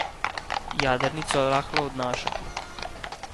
Jadrnico rahlo odnaša.